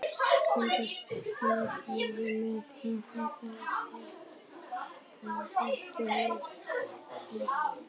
Konur stóðu yfir með kreppta hnefa og hvöttu menn til dáða.